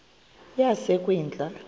yasekwindla